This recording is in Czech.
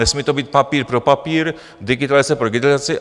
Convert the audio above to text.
Nesmí to být papír pro papír, digitalizace pro digitalizaci.